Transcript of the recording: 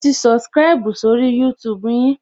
Mo ti subscribu sórí YouTube yin